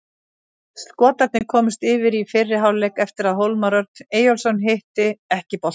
Skotarnir komust yfir í fyrri hálfleik eftir að Hólmar Örn Eyjólfsson hitti ekki boltann.